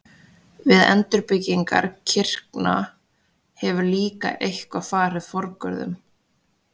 Við endurbyggingar kirkna hefur líka eitthvað farið forgörðum.